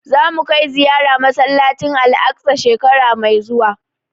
Za mu kai ziyara masallacin Al'aqsa shekara mai zuwa